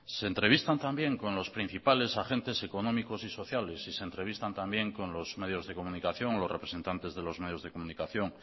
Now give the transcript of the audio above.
se entrevistan también con los principales agentes económicos y sociales y se entrevistan también con los medios de comunicación o los representantes de los medios de comunicación